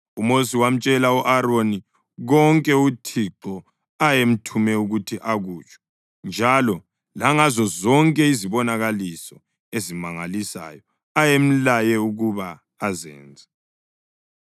UMosi wamtshela u-Aroni konke uThixo ayemthume ukuthi akutsho, njalo langazo zonke izibonakaliso ezimangalisayo ayemlaye ukuba azenze.